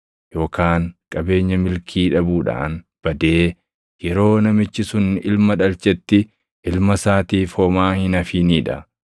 yookaan qabeenya milkii dhabuudhaan badee yeroo namichi sun ilma dhalchetti ilma isaatiif homaa hin hafinii dha.